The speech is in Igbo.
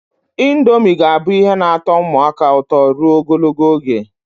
Indomie ga-abụ ihe na-atọ ụmụaka ụtọ ruo ogologo oge.